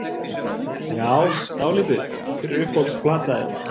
Já dálítið Hver er uppáhalds platan þín?